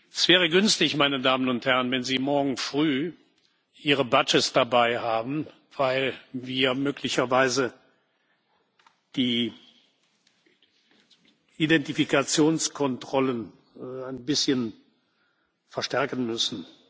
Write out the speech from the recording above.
Es wäre günstig, meine Damen und Herren, wenn Sie morgen Früh Ihre Badges dabei haben, weil wir möglicherweise die Identifikationskontrollen ein bisschen verstärken müssen.